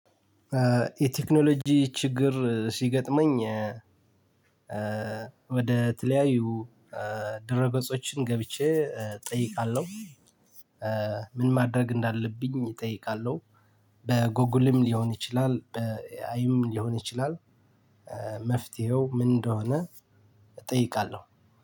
የቴክኖሎጂ ችግር ሲገጥመኝ ወደ ተለያዩ ድረገጾችን ገብቼ እጠይቃለሁ ምን ማድረግ እንዳለብኝ እጠይቃለሁ በጎጉልም ሊሆን ይችላል በኤአዩም ሊሆን ይችላል መፍትሄው ምን እንደሆነ እጠይቃለሁ።